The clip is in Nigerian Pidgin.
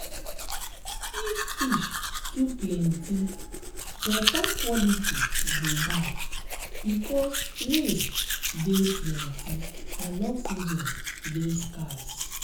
if fish too plenty water quality go bad because waste dey plenty and oxygen dey scarce